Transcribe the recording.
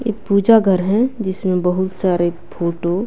ये पूजा घर है जिसमें बहुत सारे फोटो --